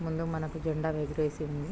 ముందు మనకి జెండా ఎగరేసి ఉంది.